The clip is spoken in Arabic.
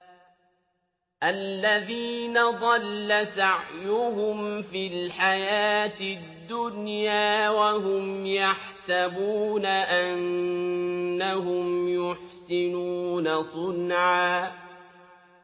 الَّذِينَ ضَلَّ سَعْيُهُمْ فِي الْحَيَاةِ الدُّنْيَا وَهُمْ يَحْسَبُونَ أَنَّهُمْ يُحْسِنُونَ صُنْعًا